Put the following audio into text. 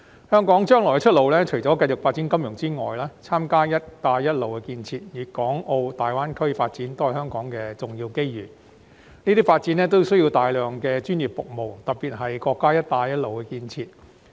香港將來的出路除繼續發展金融之外，參加"一帶一路"建設及粵港澳大灣區發展都是香港的重要機遇，這些發展需要大量專業服務，特別是國家的"一帶一路"建設。